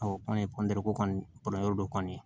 an ye ko kɔni dɔ kɔni